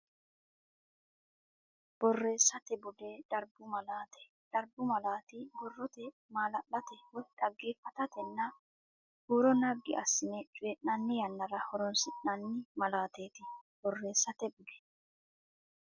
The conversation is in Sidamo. Borreessate Bude Darbu Malaate Darbu malaati borrote maala late woy dhaggeeffatatenna huuro naggi assine coyi nanni yannara horoonsi nanni malaateeti Borreessate Bude.